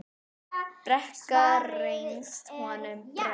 Brekka reynst honum brött.